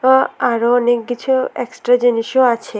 ও আরও অনেক কিছু এক্সট্রা জিনিসও আছে।